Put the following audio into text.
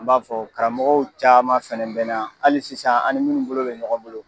An b'a fɔ karamɔgɔw caman fana be na. Hali sisan an ni munnu bolo be mɔgɔn bolo